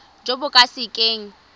jo bo ka se keng